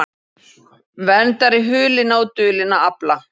Verndari hulinna og dulinna afla